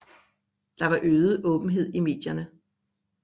Der var øget åbenhed i medierne